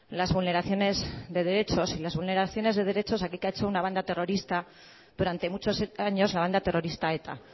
las vulneraciones de derechos y las vulneraciones de derechos aquí que ha hecho una banda terrorista durante muchos años la banda terrorista eta